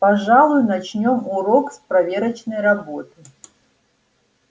пожалуй начнём урок с проверочной работы